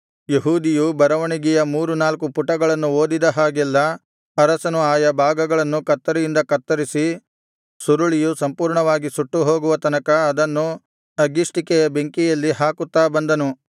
ಯೆಹೂದಿಯು ಬರವಣಿಗೆಯ ಮೂರು ನಾಲ್ಕು ಪುಟಗಳನ್ನು ಓದಿದ ಹಾಗೆಲ್ಲಾ ಅರಸನು ಆಯಾ ಭಾಗಗಳನ್ನು ಕತ್ತರಿಯಿಂದ ಕತ್ತರಿಸಿ ಸುರುಳಿಯು ಸಂಪೂರ್ಣವಾಗಿ ಸುಟ್ಟುಹೋಗುವ ತನಕ ಅದನ್ನು ಅಗ್ಗಿಷ್ಟಿಕೆಯ ಬೆಂಕಿಯಲ್ಲಿ ಹಾಕುತ್ತಾ ಬಂದನು